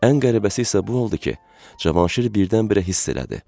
Ən qəribəsi isə bu oldu ki, Cavanşir birdən-birə hiss elədi.